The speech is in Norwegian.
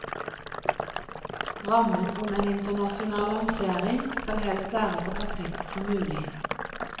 Rammen om en internasjonal lansering skal helst være så perfekt som mulig.